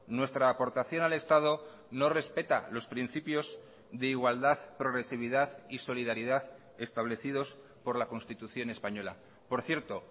nuestra aportación al estado no respeta los principios de igualdad progresividad y solidaridad establecidos por la constitución española por cierto